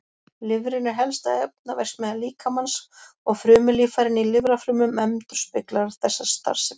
Lifrin er helsta efnaverksmiðja líkamans og frumulíffærin í lifrarfrumum endurspeglar þessa starfsemi.